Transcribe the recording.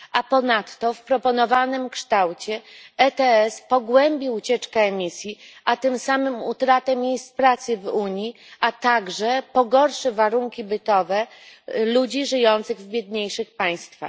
A ponadto w proponowanym kształcie EU ETS pogłębi ucieczkę emisji, a tym samym utratę miejsc pracy w Unii, a także pogorszy warunki bytowe ludzi żyjących w biedniejszych państwach.